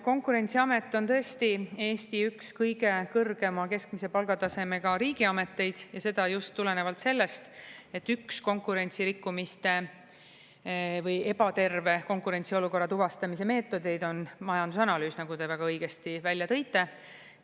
Konkurentsiamet on tõesti Eesti üks kõige kõrgema keskmise palgatasemega riigiameteid ja seda just tulenevalt sellest, et üks konkurentsirikkumiste või ebaterve konkurentsiolukorra tuvastamise meetodeid on majandusanalüüs, nagu te väga õigesti välja tõite.